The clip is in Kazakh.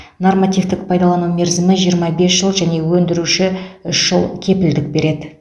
нормативтік пайдалану мерзімі жиырма бес жыл және өндіруші үш жыл кепілдік береді